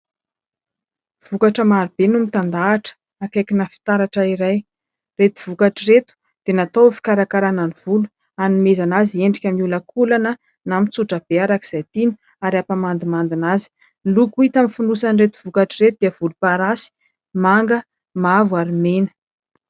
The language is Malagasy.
Vokatra marobe no mitandahatra akaikina fitaratra iray. Ireto vokatra ireto dia natao no fikarakarana ny volo, hanomezana azy endrika miolakolana na mitsotra be araka izay tiana ary hampamandimandina azy. Loko hita amin'ny fonosan'ireto vokatra ireto dia voloparasy, manga, mavo ary mena.